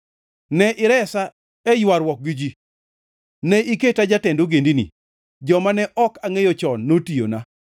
Ne iresa e ywaruok gi ji. Ne iketa jatend ogendini; joma ne ok angʼeyo chon notiyona.